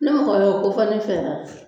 Ne mɔgɔ y'o kofɔ ne fɛ yan